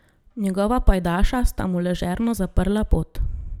Njegova pajdaša sta mu ležerno zaprla pot.